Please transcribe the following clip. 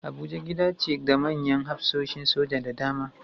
Abuja gida ce ga manyan hafsoshin soja da dama